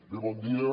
bé bon dia